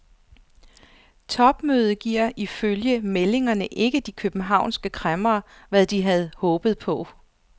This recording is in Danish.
Topmødet giver ifølge meldingerne ikke de københavnske kræmmere, hvad de havde håbet på.